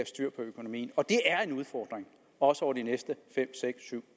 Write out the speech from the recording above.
styr på økonomien og det er en udfordring også over de næste fem seks syv